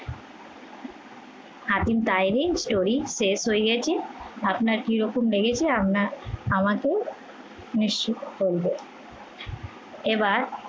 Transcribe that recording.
Hatim story শেষ হয়ে গেছে কিরকম লেগেছে আমরা আমাকে নিশ্চিত করবেন। এবার